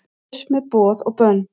Burt með boð og bönn